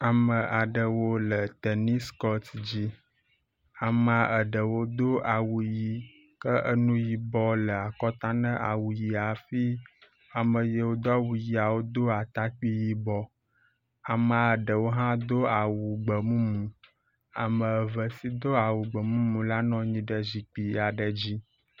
Amea aɖewo le tenis kɔt dzi, ame aɖewo do awu ʋɛ̃ ke enu yibɔ le akɔta ne awu ʋɛ̃ hafi ame yiwo do aʋɛ̃a do atakpui yibɔ. Amea ɖewo hã do awu gbemumu, ame eve si do awu gbe mumu la nɔ anyi ɖe zikpui aɖe dzi.